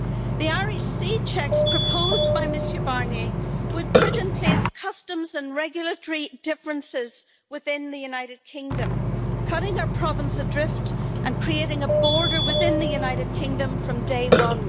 The Irish Sea checks proposed by Mr Barnier, would put in place customs and regulatory differences within the United Kingdom, cutting our province adrift and creating a border within the United Kingdom from day one.